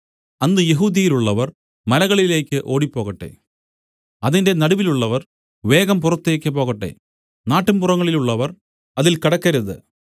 അന്ന് യെഹൂദ്യയിലുള്ളവർ മലകളിലേക്ക് ഓടിപ്പോകട്ടെ അതിന്റെ നടുവിലുള്ളവർ വേഗം പുറത്തേക്ക് പോകട്ടെ നാട്ടുംപുറങ്ങളിലുള്ളവർ അതിൽ കടക്കരുത്